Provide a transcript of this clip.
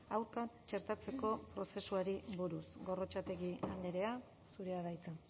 aurka txertatzeko prozesuari buruz gorrotxategi andrea zurea da hitza